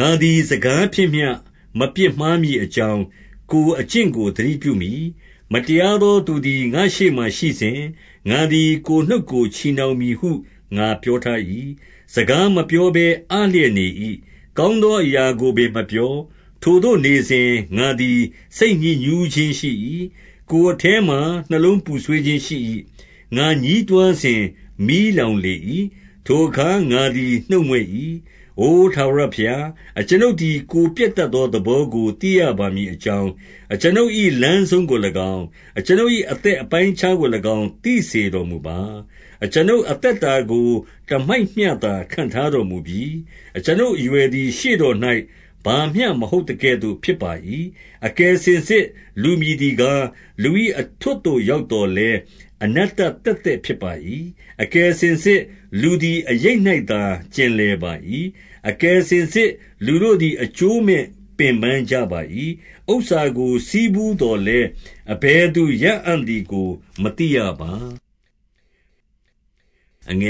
ငါသည်စကားဖြင့်မျှ မပြစ်မှားမည်အကြောင်း၊ ကိုယ်ကျင့်ကို သတိပြုမည်။ မတရားသောသူသည် ငါ့ရှေ့ မှာရှိစဉ်၊ ငါသည်ကိုယ်နှုတ်ကို ချည်နှောင်မည်ဟု ငါပြော ထား၏။ 2 စကားမပြောဘဲအလျက်နေ၏။ ကောင်းသော အရာကိုပင် မပြော။ ထိုသို့နေစဉ်၊ ငါသည် စိတ်ညစ်ညူး ခြင်းရှိ၏။ 3 ကိုယ်အထဲမှာ နှလုံးပူဆွေးခြင်းရှိ၏။ ငါညည်း တွားစဉ်၊ မီးလောင်လေ၏။ ထိုအခါငါသည် နှုတ်မြွက်၏။ 4 အိုထာဝရဘုရား၊ အကျွန်ုပ်သည် ကိုယ်ပျက် တတ်သော သဘောကိုသိရပါမည်အကြောင်း၊ အကျွန်ုပ် ၏လမ်းဆုံးကို၎င်း၊ အကျွန်ုပ်၏ အသက်အပိုင်းအခြားကို၎င်း သိစေတော်မူပါ။ 5 အကျွန်ုပ်အသက်တာကို တမိုက်မျှသာ ခန့်ထား တော်မူပြီ။ အကျွန်ုပ်အရွယ်သည် ရှေ့တော်၌ ဘာမျှ မဟုတ်သကဲ့သို့ဖြစ်ပါ၏။ အကယ်စင်စစ် လူမည်သည် ကား၊ လူ၏အထွဋ်သို့ ရောက်သော်လည်း၊ အနတ္တသက် သက်ဖြစ်ပါ၏။ 6 အကယ်စင်စစ်လူသည် အရိပ်၌သာ ကျင်လည် ပါ၏။ အကယ်စင်စစ် လူသည် အရိပ်၌သာ ကျင်လည် ပါ၏။ အကယ်စင်စစ် လူတို့သည် အကျိုးမဲပင်ပန်းကြ ပါ၏။ ဥစ္စာကိုဆည်းဖူးသော်လည်း အဘယ်သူရအံ့သည် ကို မသိရပါ။ 7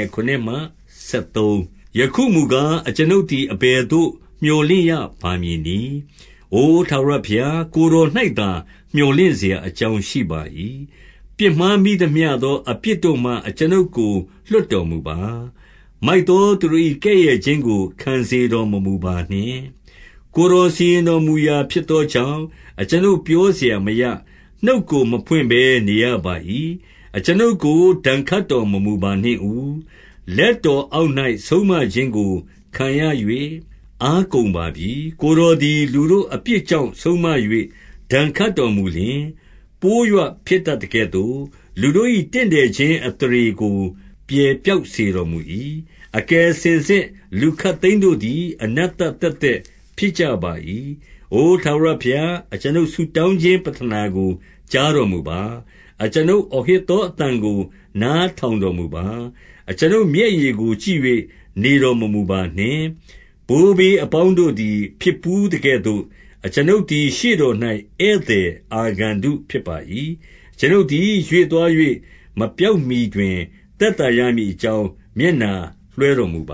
ယခုမူကား၊ အကျွန်ုပ်သည် အဘယ်သို့ မြော်လင့်ရပါမည်နည်း။ အိုထာဝရဘုရား၊ ကိုယ်တော်၌ သာ မြော်လင့်စရာအကြောင်းရှိပါ၏။ 8 ပြစ်မှားမိသမျှသောအပြစ်တို့မှ အကျွန်ုပ်ကို လွှတ်တော်မူပါ။ မိုက်သော သူတို့၏ ကဲ့ရဲ့ခြင်းကို ခံစေတော်မမူပါနှင့်။ 9 ကိုယ်တော်စီရင်တော်မူရာ ဖြစ်သောကြောင့်၊ အကျွန်ုပ်ပြောစရာမရ။ နှုတ်ကို မဖွင့်ဘဲနေရပါ၏။ 10 အကျွန်ုပ်ကို ဒဏ်ခတ်တော်မမူပါနှင့်ဦး။ လက်တော်အောက်၌ ဆုံမခြင်းကိုခံရ၍ အားကုန်ပါပြီ။ 11 ကိုယ်တော်သည် လူတို့အပြစ်ကြောင့် ဆုံးမ၍ ဒဏ်ခတ်တော်မူလျှင်၊ ပိုးရွဖျက်တတ်သကဲ့သို့၊ လူတို့၏ တင့်တယ်ခြင်းအသရေကို ပြယ်ပျောက်စေတော်မူ၏။ အကယ်စင်စစ်လူခပ်သိမ်းတို့သည် အနတ္တသက်သက် ဖြစ်ကြပါ၏။ 12 အိုထာဝရဘုရား၊ အကျွန်ုပ်ဆုတောင်းခြင်း ပဌနာကို ကြားတော်မူပါ။ အကျွန်ုပ်အောဟစ်သော အသံကို နားထောင်တော်မူပါ။ အကျွန်ုပ်မျက်ရည်ကို ကြည့်၍ နေတော်မမူပါနှင့်။ ဘိုးဘေးအပေါင်းတို့သည် ဖြစ်ဘူးသကဲ့သို့၊ အကျွန်ုပ်သည် ရှေ့တော်၌ဧည့်သည် အာဂန္တုဖြစ်၏။ 13 အကျွန်ုပ်သည် ရွေ့သွား၍ မပျောက်မှီတွင် သက်သာရမည်အကြောင်း၊ မျက်နှာလွှဲတော်မူပ